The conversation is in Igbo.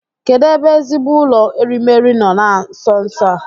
Kedụ ebe ezigbo ụlọ erimeri nọ na nso nso a?